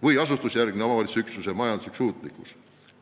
konkreetse omavalitsusüksuse majanduslik suutlikkus.